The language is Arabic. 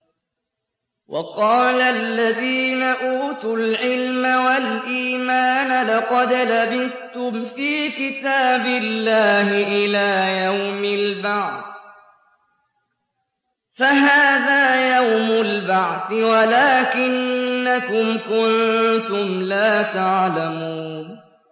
وَقَالَ الَّذِينَ أُوتُوا الْعِلْمَ وَالْإِيمَانَ لَقَدْ لَبِثْتُمْ فِي كِتَابِ اللَّهِ إِلَىٰ يَوْمِ الْبَعْثِ ۖ فَهَٰذَا يَوْمُ الْبَعْثِ وَلَٰكِنَّكُمْ كُنتُمْ لَا تَعْلَمُونَ